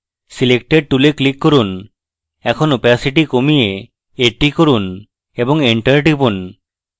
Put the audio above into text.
selector tool এ click করুন এখন opacity কমিয়ে 80 করুন এবং enter টিপুন